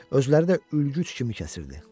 Özləri də ülgüc kimi kəsirdi.